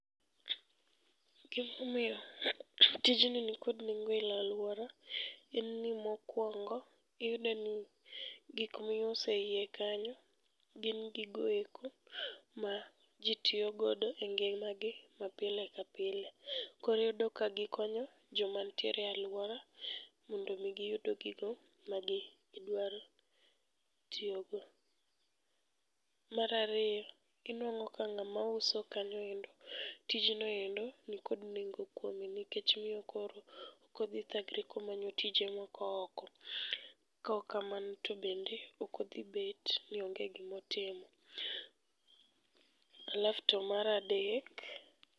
Gimomiyo tijni nikod nengo e alwora, en ni mokwongo iyudeni nigikmiuso eiye kanyo gin gigoeko ma ji tiyogodo e ngimagi ma pile ka pile. Koyodo ka gikonyo jomantiere alwora mondomi giyud gigo magidwaro tiyogo. Marariyo, inuang'o ka ng'amauso kanyoendo, tijnoendo nikod nengo kuome. Nikech miyo koro okodhithagre komanyo tije moko oko. Kaok kamano to bende, okodhibet ni onge gimotimo. Alafu to maradek.